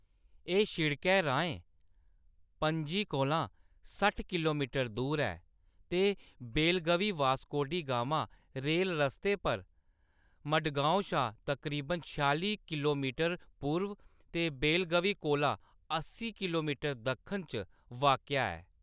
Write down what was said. एह्‌‌ शिड़कै राहें पणजी कोला ,सट्ठ किलोमीटर दूर ऐ ते बेलगवी वास्को डी गामा रेल रस्ते पर मडगाँव शा तकरीबन छेआली किलोमीटर पूर्व ते बेलगवी कोला अस्सी किलोमीटर दक्खन च वाक्या ऐ।